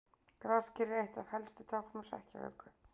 Grasker er eitt af helstu táknum hrekkjavöku.